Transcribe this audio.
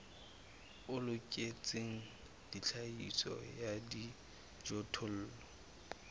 o loketseng tlhahiso ya dijothollo